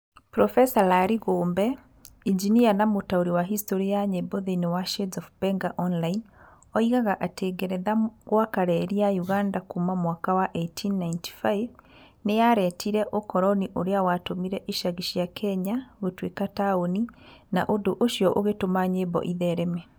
Profesa Larĩ Gũmbe, injinia na mũtaũri wa hĩstorĩ ya nyĩmbo thĩĩni wa Shades of Benga Online oigaga atĩ ngeretha gwaka reri ya Uganda kuuma mwaka wa 1895, nĩ yaretire ũkoroni ũrĩa watũmire icagi cia Kenya gũtuĩka taũni na ũndũ ũcio ũgĩtũma nyĩmbo ithereme.